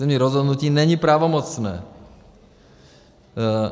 Územní rozhodnutí není pravomocné.